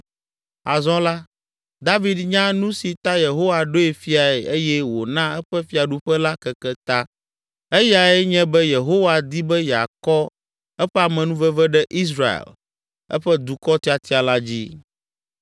Azɔ la, David nya nu si ta Yehowa ɖoe fiae eye wòna eƒe fiaɖuƒe la keke ta, eyae nye be Yehowa di be yeakɔ eƒe amenuveve ɖe Israel, eƒe dukɔ tiatia la dzi.